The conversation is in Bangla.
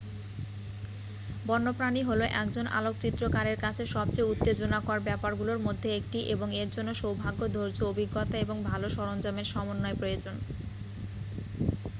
বন্যপ্রাণী হলো একজন আলোকচিত্রকারের কাছে সবচেয়ে উত্তেজনাকর ব্যাপারগুলোর মধ্যে একটি এবং এর জন্য সৌভাগ্য ধৈর্য অভিজ্ঞতা এবং ভাল সরঞ্জামের সমন্বয় প্রয়োজন